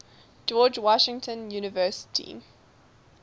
george washington university